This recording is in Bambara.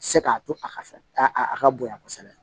Se k'a to a ka fɛ a a ka bonya kosɛbɛ